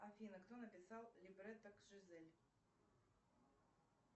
афина кто написал либретто к жизель